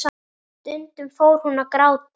Og hlæja saman.